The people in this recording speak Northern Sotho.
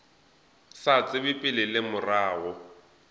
sa tsebe pele le morago